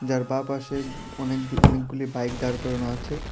যার বাঁপাশে অনেক অনেকগুলি বাইক দাঁড় করানো আছে।